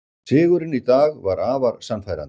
Sigurinn í dag var afar sannfærandi